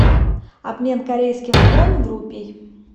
обмен корейских вон в рупий